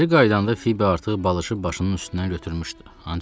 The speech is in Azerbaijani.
Geri qayıdanda Fibi artıq balışı başının üstündən götürmüşdü.